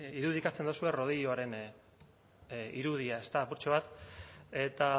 irudikatzen duzue rodilloaren irudia ezta apurtxo bat eta